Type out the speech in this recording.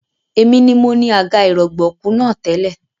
Èmi ni mo ni àga ìrọ̀gbọ̀kú náà tẹ́lẹ̀